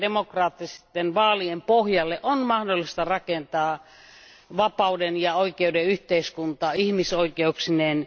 Näiden demokraattisten vaalien pohjalle on mahdollista rakentaa vapauden ja oikeuden yhteiskunta ihmisoikeuksineen.